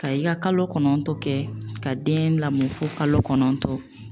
Ka i ka kalo kɔnɔntɔn kɛ ka den lamɔ fo kalo kɔnɔntɔn